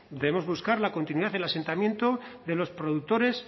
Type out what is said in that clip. debemos buscar la continuidad el asentamiento de los productores